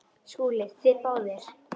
SKÚLI: Þið báðir?